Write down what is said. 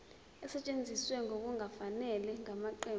esetshenziswe ngokungafanele ngamaqembu